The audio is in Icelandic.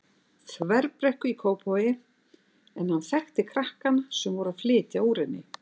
Þverbrekku í Kópavogi en hann þekkti krakkana sem voru að flytja úr henni.